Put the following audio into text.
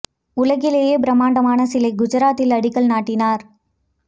உலகிலேயே பிரமாண்டமான சிலை குஜராத்தில் அடிக்கல் நாட்டினர்